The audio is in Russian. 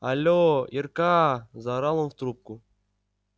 але ирка заорал он в трубку